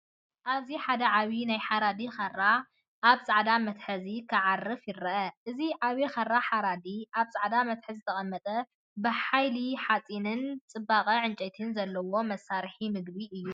ኣብዚ ሓደ ዓቢ ናይ ሓራዲ ካራ ኣብ ጻዕዳ መትሓዚ ክዓርፍ ይርአ። እዚ ዓቢ ካራ ሓራዲ፡ ኣብ ጻዕዳ መትሓዚ ዝተቐመጠ፡ ብሓይሊ ሓጺንን ጽባቐ ዕንጨይትን ዘለዎ መሳርሒ ምግቢ እዩ።